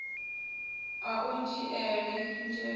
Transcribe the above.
ha u dzhiele nzhele ndeme